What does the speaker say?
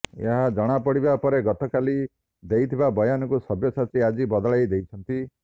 ଏହା ଜଣାପଡିବା ପରେ ଗତକାଲି ଦେଇଥିବା ବୟାନକୁ ସବ୍ୟସାଚୀ ଆଜି ବଦଳାଇ ଦେଇଛନ୍ତି